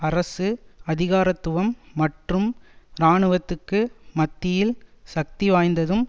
அரசு அதிகாரத்துவம் மற்றும் இராணுவத்துக்கு மத்தியில் சக்திவாய்ந்ததும்